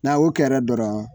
Na o kɛra dɔrɔn